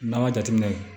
N'an ma jateminɛ